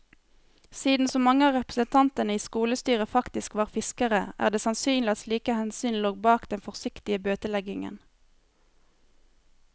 Siden så mange av representantene i skolestyret faktisk var fiskere, er det sannsynlig at slike hensyn lå bak den forsiktige bøteleggingen.